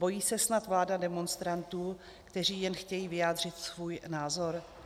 Bojí se snad vláda demonstrantů, kteří jen chtějí vyjádřit svůj názor?